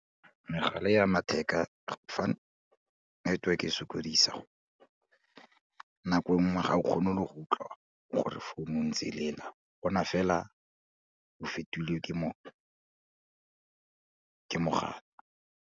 Megala e ya matheka network e sokodisa, nako nngwe ga o kgone le go utlwa gore founu e ntse e lela bona fela o fetilwe ke ke mogala.